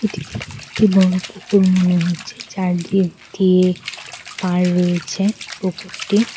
একটি বড় পুকুর মনে হচ্ছে চারিদিক দিয়ে পার রয়েছে পুকুরটির।